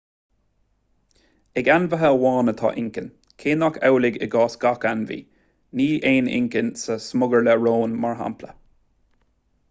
ag ainmhithe amháin atá inchinn cé nach amhlaidh i gcás gach ainmhí; ní aon inchinn sa smugairle róin mar shampla